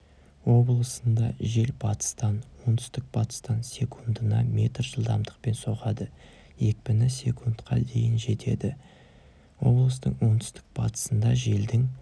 облысында жел батыстан оңтүстік-батыстан секундына метр жылдамдықпен соғады екпіні с-қа дейін жетеді облыстың оңтүстік-батысында желдің